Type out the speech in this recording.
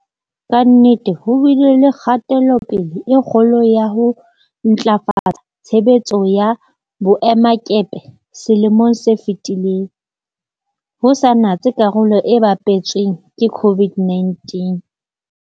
Ka nnete ho bile le kgatelopele e kgolo ya ho ntlafatsa tshebetso ya boemakepe selemong se fetileng, ho sa natse karolo e bapetsweng ke COVID-19.